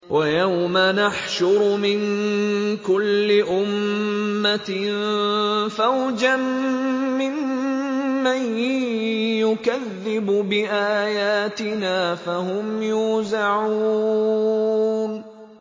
وَيَوْمَ نَحْشُرُ مِن كُلِّ أُمَّةٍ فَوْجًا مِّمَّن يُكَذِّبُ بِآيَاتِنَا فَهُمْ يُوزَعُونَ